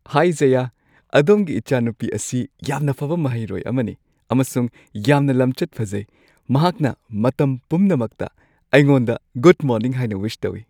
ꯍꯥꯏ ꯖꯌꯥ, ꯑꯗꯣꯝꯒꯤ ꯏꯆꯥꯅꯨꯄꯤ ꯑꯁꯤ ꯌꯥꯝꯅ ꯐꯕ ꯃꯍꯩꯔꯣꯏ ꯑꯃꯅꯤ ꯑꯃꯁꯨꯡ ꯌꯥꯝꯅ ꯂꯝꯆꯠ ꯐꯖꯩ꯫ ꯃꯍꯥꯛꯅ ꯃꯇꯝ ꯄꯨꯝꯅꯃꯛꯇ ꯑꯩꯉꯣꯟꯗ ꯒꯨꯗ ꯃꯣꯔꯅꯤꯡ ꯍꯥꯏꯅ ꯋꯤꯁ ꯇꯧꯏ꯫